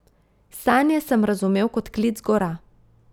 Sanje sem razumel kot klic gora.